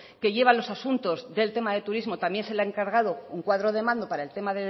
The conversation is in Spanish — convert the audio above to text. que lleva los asuntos del tema del turismo también se le ha encargado un cuadro de mando para el tema